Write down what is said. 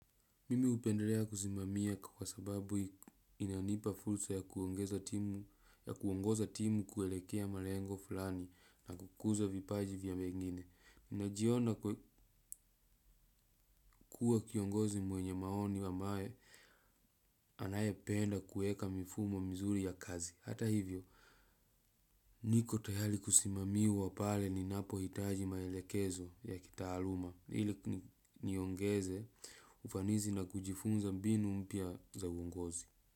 Mimi hupendelea kusimamia kwa sababu inanipa fursa ya kuongoza timu kuelekea malengo fulani na kukuza vipaji vya wengine. Najiona kuwa kiongozi mwenye maoni ambaye anayependa kueka mifumo mizuri ya kazi. Hata hivyo, niko tayari kusimamiwa pale ninapohitaji maelekezo ya kitaaluma. Ili niongeze ufanisi na kujifunza mbinu mpya za uongozi.